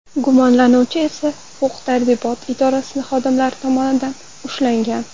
Gumonlanuvchi esa huquq-tartibot idoralari xodimlari tomonidan ushlangan.